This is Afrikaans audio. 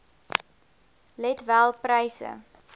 let wel pryse